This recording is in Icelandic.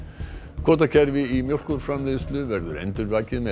kvótakerfi í mjólkurframleiðslu verður endurvakið með